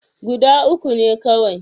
Guda uku ne kawai.